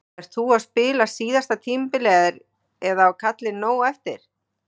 Ert þú að spila síðasta tímabilið eða á kallinn nóg eftir?